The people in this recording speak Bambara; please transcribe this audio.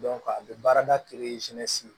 a bɛ baarada